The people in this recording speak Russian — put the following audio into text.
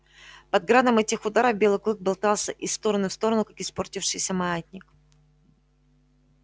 под градом этих ударов белый клык болтался из стороны в сторону как испортившийся маятник